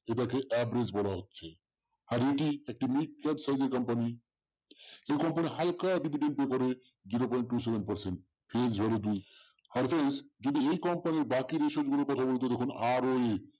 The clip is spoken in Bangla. এটা কে বলা হচ্ছে। আর এটি একটি এই company হালকা যদি zero point two seven percent এই যদি company বাকি ratio দেখুন আরো